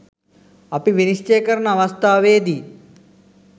අපි විනිශ්චය කරන අවස්ථාවේදී